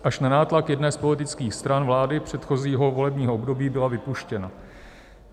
Až na nátlak jedné z politických stran vlády předchozího volebního období byla vypuštěna.